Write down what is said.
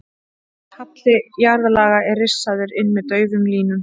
Halli jarðlaga er rissaður inn með daufum línum.